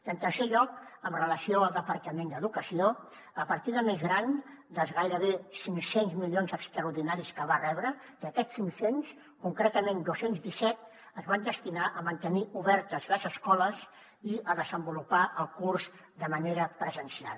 i en tercer lloc amb relació al departament d’educació la partida més gran dels gairebé cinc cents milions extraordinaris que va rebre d’aquests cinc cents concretament dos cents i disset es van destinar a mantenir obertes les escoles i a desenvolupar el curs de manera presencial